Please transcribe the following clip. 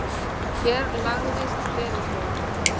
Hér lagðist Veðurstofa